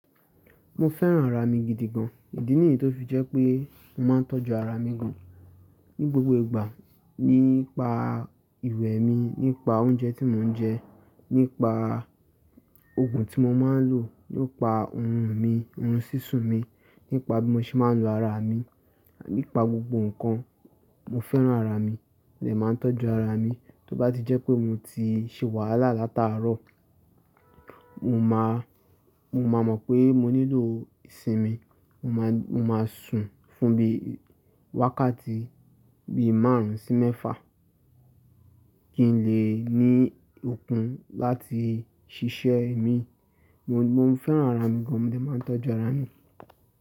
Mo fẹ́ràn ara mi gidi gan. Ìdí nìyí tó fi jẹ́ pé mo máa ń tọ́jú ara mi gan. Ni gbogbo ìgbà, nípa ìwẹ̀ mi, nípa oúnjẹ tí mo ń jẹ, nípa òògun tí mo máa ń lò, nípa orun mi, orun sísun mi, nípa bí mo ṣe máa ń lo ara mi, nípa gbogbo nǹkan. Mo fẹ́ràn ara mi, mo dẹ̀ máa ń tọ́jú ara mi. Tí ó bá ti jẹ́ pé mo ti ṣe wàhálà látàárọ̀, mo máa, mo máa mọ̀ pé mo nílò ìsinmi. Mo máa, mo máa sùn fún bí i wákàtí, bí i márùn ún sí mẹ́fà, kí n lè ní okun láti ṣiṣẹ́ mi. Mo, mo fẹ́ràn ara mi gan, mo lè máa ń tọ́jú ara mi.